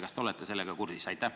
Kas te olete sellega kursis?